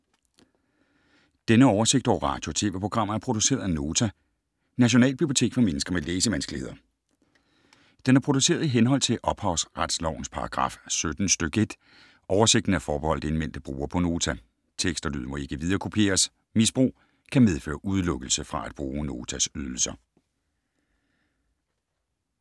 Denne oversigt over radio og TV-programmer er produceret af Nota, Nationalbibliotek for mennesker med læsevanskeligheder. Den er produceret i henhold til ophavsretslovens paragraf 17 stk. 1. Oversigten er forbeholdt indmeldte brugere på Nota. Tekst og lyd må ikke viderekopieres. Misbrug kan medføre udelukkelse fra at bruge Notas ydelser.